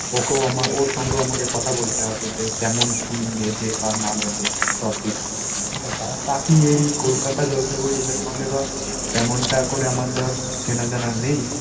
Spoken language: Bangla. ওকেও আমার ওর সঙ্গে আমাকে কথা বলতে হবে যে, কেমন কী নেবে বা না নেবে profit. ঠিকাছে? আর বাকি এই কলকাতা জলপাইগুড়ি এদের সঙ্গে ধর তেমনটা করে আমার ধর চেনা জানা নেই